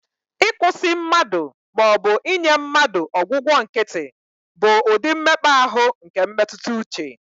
Ịkwụsị mmadụ, ma ọ bụ inye mmadụ ọgwụgwọ nkịtị, bụ ụdị mmekpa ahụ nke mmetụta uche